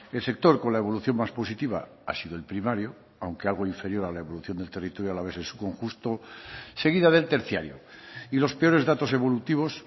el sector con la evolución más positiva ha sido el primario aunque algo inferior a la evolución del territorio alavés en su conjunto seguida del terciario y los peores datos evolutivos